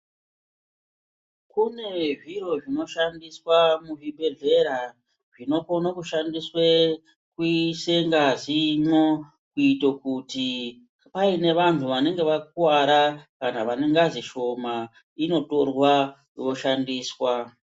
Kune zviro zvinoshandiswa muzvibhedhlera, zvinokone kushandiswe kuise ngazimwo, kuite kuti paine vanhu vanenge vakuwara, kana vane ngazi shoma inotorwa, yoshandiswa.